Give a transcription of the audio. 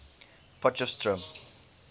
potchefstroom